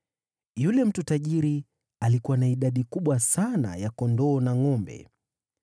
Yule mtu tajiri alikuwa na idadi kubwa sana ya kondoo na ngʼombe,